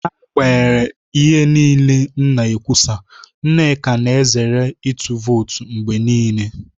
N'agbanyeghị ihe niile m na-ekwusa, Nnaemeka na-ezere ịtụ vootu mgbe niile.